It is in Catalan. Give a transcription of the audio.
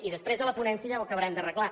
i després a la ponència ja ho acabarem d’arreglar